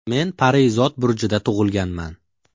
Men Parizod burjida tug‘ilganman.